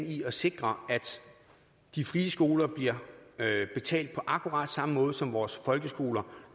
i at sikre at de frie skoler bliver betalt på akkurat samme måde som vores folkeskoler